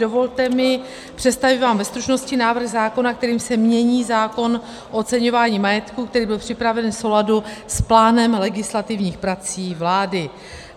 Dovolte mi představit vám ve stručnosti návrh zákona, kterým se mění zákon o oceňování majetku, který byl připraven v souladu s plánem legislativních prací vlády.